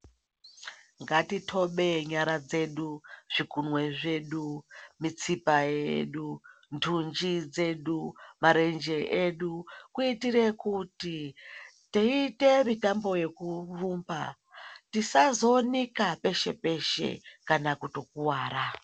Ngatitobe nyara dzedu, zvigunwe zvedu, mitsiba yedu, ndunji dzedu, marenje edu kuitire kuti teiite mitambo yekurumba tisazonika peshe-peshe kana kutokuvara.